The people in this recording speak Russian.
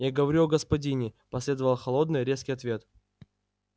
я говорю о господине последовал холодный резкий ответ